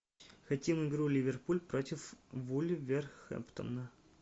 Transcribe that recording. хотим игру ливерпуль против вулверхэмптона